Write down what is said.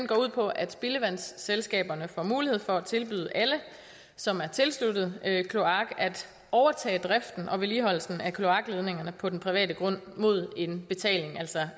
går ud på at spildevandsselskaberne får mulighed for at tilbyde alle som er tilsluttet kloak at overtage driften og vedligeholdelsen af kloakledningerne på den private grund mod betaling altså